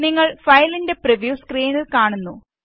നിങ്ങള് ഫയലിന്റെ പ്രിവ്യൂ സ്ക്രീനില് കാണുന്നു